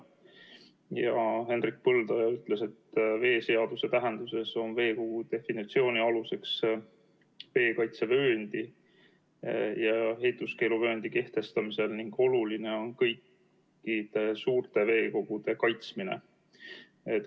Hendrik Põldoja ütles, et veeseaduse tähenduses on veekogu definitsioon aluseks veekaitsevööndi ja ehituskeeluvööndi kehtestamisel ning oluline on kõikide suurte veekogude kaitsmine.